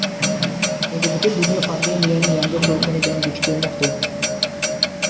Endi butun dunyo pandemiyaning yangi to‘lqini bilan duch kelmoqda.